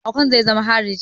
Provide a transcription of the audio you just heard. Okon zai zama hariji